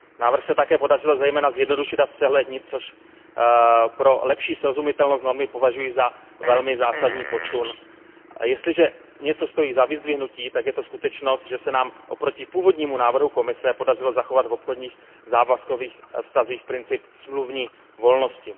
Návrh se také podařilo zejména zjednodušit a zpřehlednit, což pro lepší srozumitelnost normy považuji za velmi zásadní posun. A jestliže něco stojí za vyzdvihnutí, tak je to skutečnost, že se nám oproti původnímu návrhu Komise podařilo zachovat v obchodních a závazkových vztazích princip smluvní volnosti.